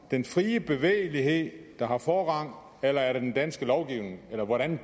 den frie bevægelighed der har forrang eller er det den danske lovgivning eller hvordan